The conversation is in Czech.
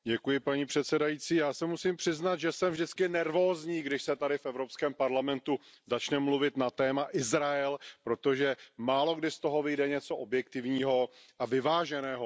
Paní předsedající, já se musím přiznat, že jsem vždycky nervózní, když se tady v Evropském parlamentu začne mluvit na téma Izrael, protože málokdy z toho vyjde něco objektivního a vyváženého.